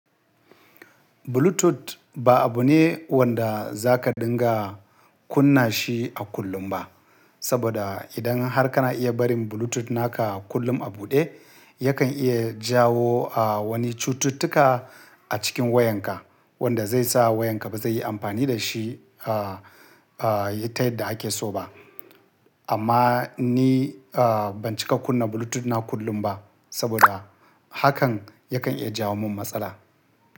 Bluetooth ba abu ne wanda za ka dinga kunna shi a kullum ba. Saboda idan har kana iya barin Bluetooth naka kullum a buɗe, yakan iya jawo, ah, wani cututtuka a cikin wayanka wanda zai sa wayanka ba zai yi amfani da shi, ah, ah, ta yadda ake so ba. Amma ni, ah, ban cika kunna Bluetooth na kullum ba saboda hakan yakan iya jawo min matsala.